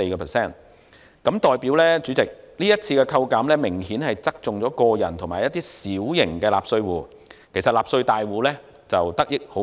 主席，這代表今次扣減明顯側重於個人及小型納稅戶，而納稅大戶得益甚微。